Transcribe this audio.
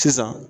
Sisan